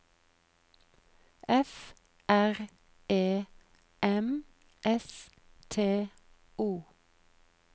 F R E M S T O